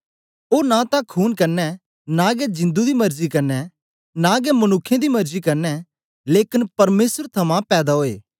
ओ नां तां खूने कन्ने नां गै जिंदु दी मर्जी कन्ने नां गै मनुक्खें दी मर्जी कन्ने लेकन परमेसर थमां पैदा ओये